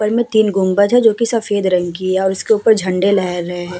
पर मे तीन गुंबज है जो कि सफेद रंग की है। उसके ऊपर झंडे लहर रहे हैं।